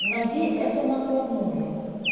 найди эту накладную